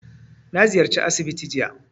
Na ziyarci asibiti jiya